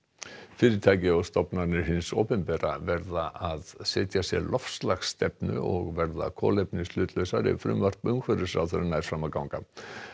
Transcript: fyrirtæki og stofnanir hins opinbera verða að setja sér loftslagsstefnu og verða kolefnishlutlausar ef frumvarp umhverfisráðherra nær fram að ganga